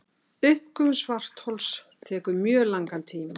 uppgufun svarthols tekur mjög langan tíma